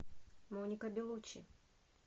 моника белучи